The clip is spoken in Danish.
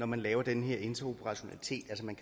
man laver den her interoperationalitet at man